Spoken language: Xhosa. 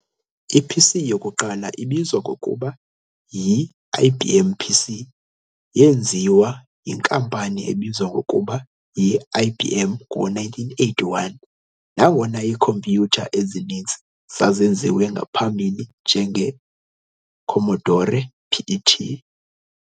I-PC yokuqala ibizwa ngokuba yi-"IBM PC" yeenziwa yinkampani ebizwa ngokuba yi-IBM ngo-1981, nangona iikhompyutha ezininzi zazenziwe ngaphambili njenge-Commodore PET.